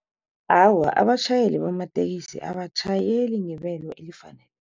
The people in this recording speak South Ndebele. Awa, abatjhayeli bamatekisi abatjhayeli ngebelo